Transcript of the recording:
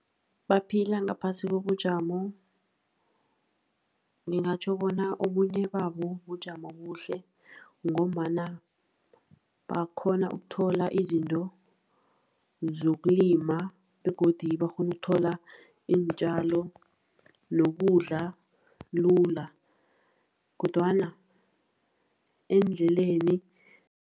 Baphila ngaphasi kobujamo, ngingatjho bona obunye babo bujamo obuhle, ngombana bakghona ukuthola izinto zokulima. Begodu bakghona ukuthola iintjalo nokudla lula, kodwana endleleni.